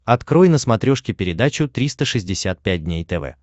открой на смотрешке передачу триста шестьдесят пять дней тв